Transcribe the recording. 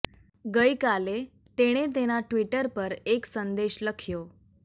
ગઈ કાલે તેણે તેના ટ્વિટર પર એક સંદેશ લખ્યો